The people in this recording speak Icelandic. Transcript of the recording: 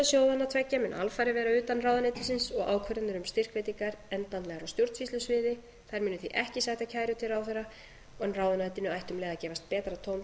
sjóðanna tveggja mun alfarið vera utan ráðuneytisins og ákvarðanir um styrkveitingar endanlega á stjórnsýslusviði þær munu því ekki sæta kæru til ráðherra en ráðuneytinu ætti um leið að gefast betra tóm